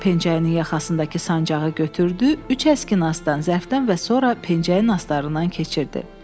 Pençəyinin yaxasındakı sancaqı götürdü, üç əskinası ondan, zərfdən və sonra pençəyin astarlarından keçirdi.